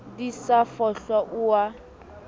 di sa fohlwa o a